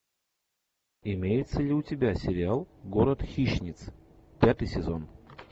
имеется ли у тебя сериал город хищниц пятый сезон